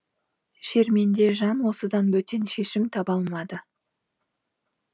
шерменде жан осыдан бөтен шешім таба алмады